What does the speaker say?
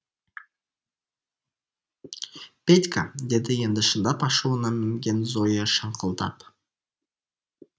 петька деді енді шындап ашуына мінген зоя шаңқылдап